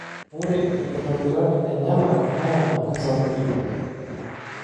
Ore inkitobirat enyenak naa kesapukin.